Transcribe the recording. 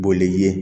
Boli ye